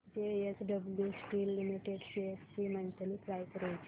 JSW steel limited shares ची monthly price range